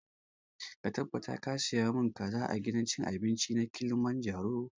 Ka tabbata ka saya mun kaza a gidan cin abinci na kilimanjaro!